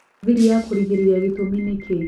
thĩri ya kũrigĩrĩria gĩtũmi nĩ kĩĩ